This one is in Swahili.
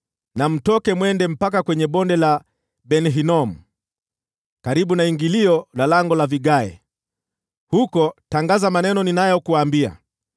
na mtoke mwende mpaka kwenye Bonde la Ben-Hinomu, karibu na ingilio la Lango la Vigae. Huko tangaza maneno ninayokuambia,